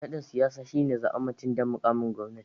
Nadin siyasa shine zabar mutum don mukamin gwamnati.